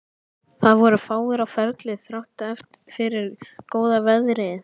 Það voru fáir á ferli þrátt fyrir góða veðrið.